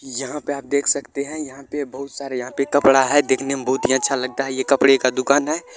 यहां पे आप देख सकते हैं यहां पे बहुत सारे यहां पे कपड़ा है देखने में बहुत ही अच्छा लगता है ये कपड़े का दुकान है।